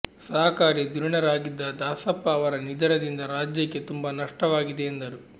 ಸಹಕಾರಿ ಧುರೀಣರಾಗಿದ್ದ ದಾಸಪ್ಪ ಅವರ ನಿಧನದಿಂದ ರಾಜ್ಯಕ್ಕೆ ತುಂಬ ನಷ್ಟವಾಗಿದೆ ಎಂದರು